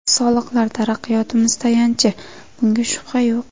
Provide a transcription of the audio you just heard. Soliqlar taraqqiyotimiz tayanchi, bunga shubha yo‘q.